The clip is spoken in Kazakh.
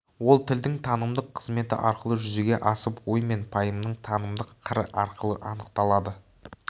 ол тілдің танымдық қызметі арқылы жүзеге асып ой мен пайымның танымдық қыры арқылы анықталады